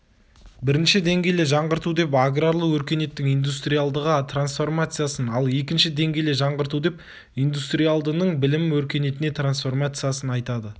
бірінші деңгейлі жаңғырту деп аграрлы өркениеттің индустриалдыға трансформациясын ал екінші деңгейлі жаңғырту деп индустриалдының білім өркениетіне трансформациясын айтады